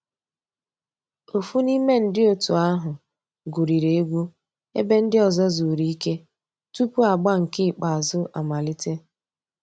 Ófú n'ime ndi ótú ahu gwuriri egwu èbé ndị́ ọ̀zọ́ zùrú ìké túpú àgbà nkè ìkèázụ́ àmàlíté.